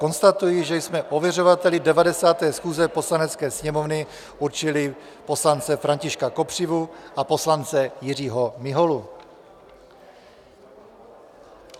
Konstatuji, že jsme ověřovateli 90. schůze Poslanecké sněmovny určili poslance Františku Kopřivu a poslance Jiřího Miholu.